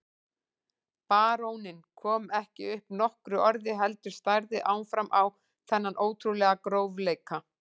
Baróninn kom ekki upp nokkru orði heldur starði áfram á þennan ótrúlega grófleika.